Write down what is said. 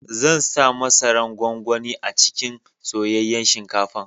Zan sa masaran gwangwani a cikin soyayyan shinkafan.